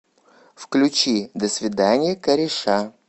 включи до свидания кореша